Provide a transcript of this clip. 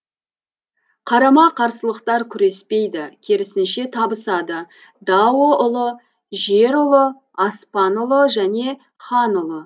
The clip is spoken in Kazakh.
қарама қарсылықтар күреспейді керісінше табысады дао ұлы жер ұлы аспан ұлы және хан ұлы